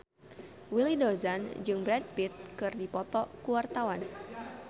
Willy Dozan jeung Brad Pitt keur dipoto ku wartawan